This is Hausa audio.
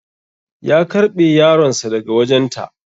Ya karɓe yaronsa daga wajen ta